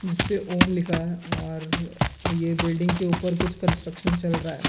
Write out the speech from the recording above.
जिसपे ओम लिखा है और ये बिल्डिंग के ऊपर कुछ कंस्ट्रक्शन चल रहा है।